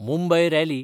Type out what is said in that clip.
Mumbai rally